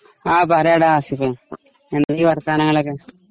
ങാഹ്.. പറയെടാ ആസിഫേ എന്തൊക്കെയാ വർത്താനങ്ങളൊക്കെ...